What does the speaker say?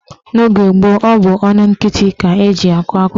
N'oge gboo, ọ bụ ọnụ nkịtị ka eji akọ akụkọ ifo.